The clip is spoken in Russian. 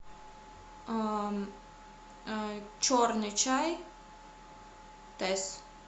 черный чай тесс